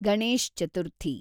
Ganesh Chaturthi